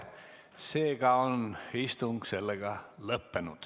Seega on istung sellega lõppenud.